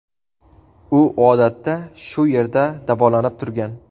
U odatda shu yerda davolanib turgan.